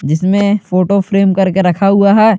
जिसमें photo frame करके रखा हुआ है।